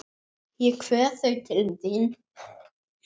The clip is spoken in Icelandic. Ég kveð þau til þín.